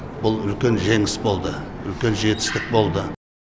бұл үлкен жеңіс болды үлкен жетістік болды